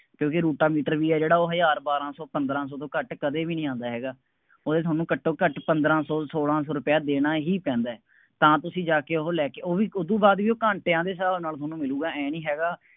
ਕਿਉਂਕਿ ਰੋਟਾਵੇਟਰ ਵੀ ਹੈ ਜਿਹੜਾ ਹਜ਼ਾਰ ਬਾਰਾਂ ਸੌ ਪੰਦਰਾਂ ਸੌ ਤੋਂ ਘੱਟ ਕਦੇ ਵੀ ਨਹੀਂ ਆਉਂਦਾ ਹੈਗਾ, ਉਹਦੇ ਤੁਹਾਨੂੰ ਘੱਟੋਂ ਘੱਟ ਪੰਦਰਾਂ ਸੌ, ਸੌਲਾਂ ਸੌ ਰੁਪਇਆ ਦੇਣਾ ਹੀ ਪੈਂਦਾ, ਤਾਂ ਤੁਸੀਂ ਜਾ ਕੇ ਉਹ ਲੈ ਕੇ, ਉਹ ਵੀ, ਉਦੋਂ ਬਾਅਦ ਵੀ ਘੰਟਿਆਂ ਦੇ ਹਿਸਾਬ ਨਾਲ ਤੁਹਾਨੂੰ ਮਿਲੂਗਾ, ਆਏਂ ਨਹੀਂ ਹੈਗਾ